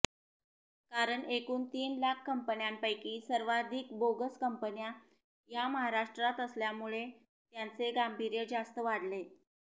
कारण एकूण तीन लाख कंपन्यांपैकी सर्वाधिक बोगस कंपन्या या महाराष्ट्रात असल्यामुळे त्याचे गांभीर्य जास्त वाढते